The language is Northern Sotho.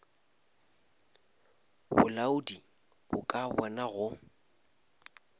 bolaodi bo ka bona go